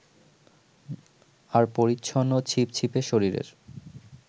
আর পরিচ্ছন্ন ছিপছিপে শরীরের